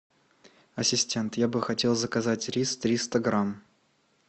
ассистент я бы хотел заказать рис триста грамм